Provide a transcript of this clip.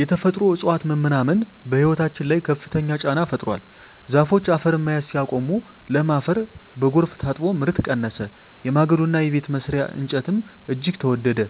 የተፈጥሮ እፅዋት መመናመን በሕይወታችን ላይ ከፍተኛ ጫና ፈጥሯል። ዛፎች አፈርን መያዝ ሲያቆሙ፣ ለም አፈር በጎርፍ ታጥቦ ምርት ቀነሰ፤ የማገዶና የቤት መስሪያ እንጨትም እጅግ ተወደደ።